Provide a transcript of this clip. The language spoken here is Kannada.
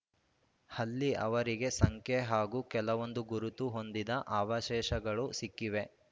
ಹಲ್ಲಿ ಅವರಿಗೆ ಸಂಖ್ಯೆ ಹಾಗೂ ಕೆಲವೊಂದು ಗುರುತು ಹೊಂದಿದ ಅವಶೇಷಗಳು ಸಿಕ್ಕಿವೆ